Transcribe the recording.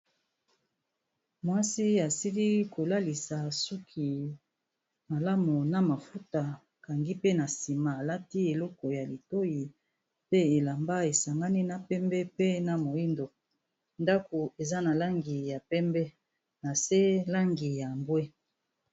Mwasi asili kolalisa suki malamu na mafuta, akangi pe na nsima alati eloko ya litoi pe elamba esangani na pembe pe na moindo. Ndako eza na langi ya pembe na se langi ya mbwe.